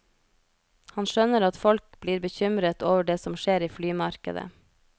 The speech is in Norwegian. Han skjønner at folk blir bekymret over det som skjer i flymarkedet.